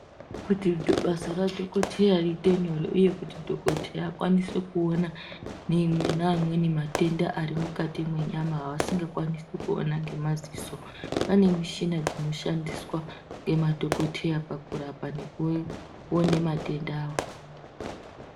Kuti basa ra dhokoteya riite nyore uye kuti dhokoteya akwanise kuona amweni matenda asingakwanisi kuona ngemaziso kune mushina dzinoshandiswa ngemadhokoteya pakurapa nekuona matenda wo.